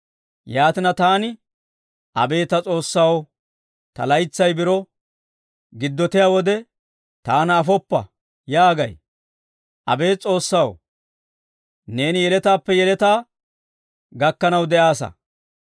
Yaatina, taani, «Abeet ta S'oossaw, ta laytsay biro giddottiyaa wode, taana afoppa» yaagay. Abeet S'oossaw, neeni yeletaappe yeletaa gakkanaw de'aassa.